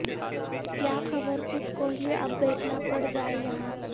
کیا خبر خود کو ہی اب بیچنا پڑ جائے یہاں